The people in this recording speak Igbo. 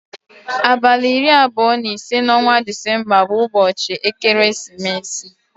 Abalị iri abụọ na ise n'ọnwa December bụ ụbọchị ekeresimesi